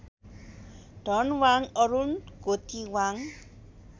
Dhanwang Arun Gothiwang